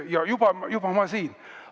Ja juba ma siin!